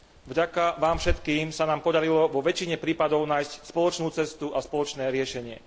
Vďaka vám všetkým sa nám podarilo vo väčšine prípadov nájsť spoločnú cestu a spoločné riešenie.